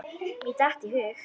Mér datt í hug.